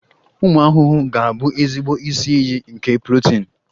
Ụmụ ahụhụ ga-abụ ezigbo isi iyi nke protini.